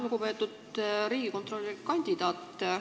Lugupeetud riigikontrolöri kandidaat!